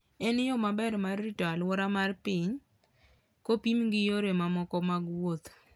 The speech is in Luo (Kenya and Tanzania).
En yo maber mar rito alwora mar piny, kopim gi yore mamoko mag wuoth.